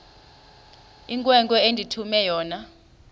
inkwenkwe endithume yona